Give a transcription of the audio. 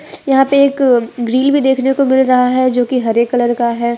यहां पे एक ग्रिल भी देखने को मिल रहा है जो की हरे कलर का है।